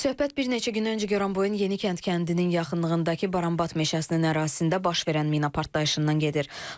Söhbət bir neçə gün öncə Goranboyun Yeni Kənd kəndinin yaxınlığındakı Barambat meşəsinin ərazisində baş verən mina partlayışından gedir.